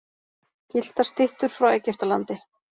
Gylltar styttur frá Egyptalandi.